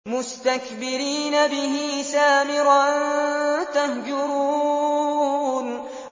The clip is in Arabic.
مُسْتَكْبِرِينَ بِهِ سَامِرًا تَهْجُرُونَ